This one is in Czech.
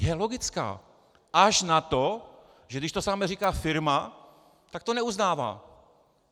Je logická, až na to, že když to samé říká firma, tak to neuznává.